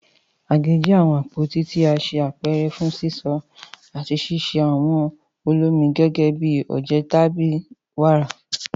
Àgé jẹ awọn apoti ti a ṣe apẹrẹ fun sisọ ati ṣiṣe awọn olomi gẹgẹbi oje tabi wara.